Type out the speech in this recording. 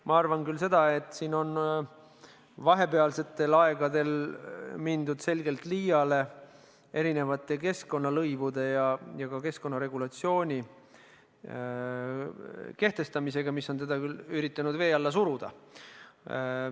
Ma arvan seda, et vahepealsetel aegadel on mindud selgelt liiale erinevate keskkonnalõivude ja muu keskkonnaregulatsiooni kehtestamisega, millega on küll üritatud teda vee alla suruda.